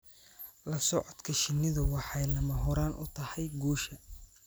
La socodka shinnidu waxay lama huraan u tahay guusha.